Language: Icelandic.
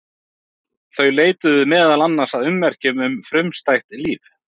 Þau leituðu meðal annars að ummerkjum um frumstætt líf.